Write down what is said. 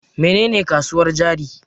Mene ne kasuwar jari?